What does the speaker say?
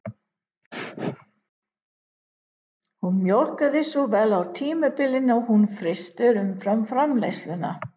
Hún mjólkaði svo vel á tímabili að hún frysti umfram-framleiðsluna